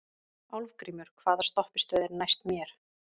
Álfgrímur, hvaða stoppistöð er næst mér?